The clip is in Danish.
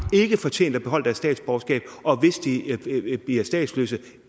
ikke fortjent at beholde deres statsborgerskab og hvis de bliver statsløse